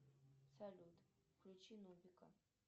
салют включи нубика